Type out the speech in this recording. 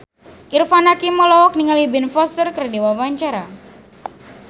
Irfan Hakim olohok ningali Ben Foster keur diwawancara